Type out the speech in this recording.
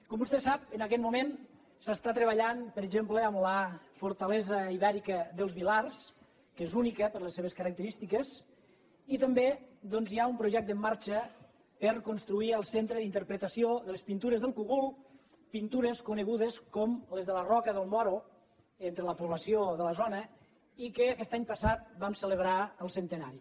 com vostè sap en aquest moment s’està treballant per exemple en la fortalesa ibèrica dels vilars que és única per les seves característiques i també doncs hi ha un projecte en marxa per a construir el centre d’interpretació de les pintures del cogul pintures conegudes com les de la roca dels moros entre la població de la zona i de què aquest any passat vam celebrar el centenari